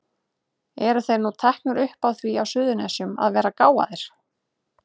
Eru þeir nú teknir upp á því á Suðurnesjum að vera gáfaðir?